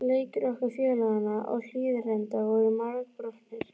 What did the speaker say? Leikir okkar félaganna á Hlíðarenda voru margbrotnir.